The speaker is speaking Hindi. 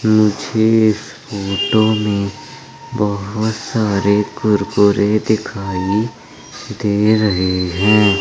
मुझे इस फोटो में बहोत सारे कुरकुरे दिखाई दे रहे हैं।